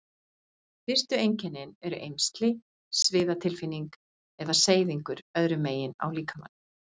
Fyrstu einkennin eru eymsli, sviðatilfinning eða seyðingur öðru megin á líkamanum.